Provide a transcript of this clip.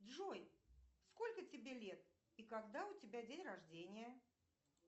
джой сколько тебе лет и когда у тебя день рождения